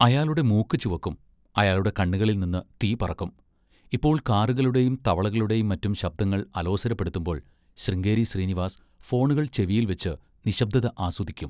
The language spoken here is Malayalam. അയാളുടെ മൂക്ക് ചുവക്കും. അയാളുടെ കണ്ണുകളിൽനിന്ന് തീപറക്കും. ഇപ്പോൾ കാറുകളുടെയും തവളകളുടെയും മറ്റും ശബ്ദങ്ങൾ അലോസരപ്പെടുത്തുമ്പോൾ ശൃംഗേരി ശ്രീനിവാസ് ഫോണുകൾ ചെവിയിൽവെച്ച്‌ നിശ്ശബ്ദത ആസ്വദിക്കും.